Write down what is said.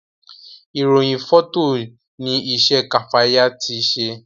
irohin Fọtọ ní isé Kafaya ti ṣe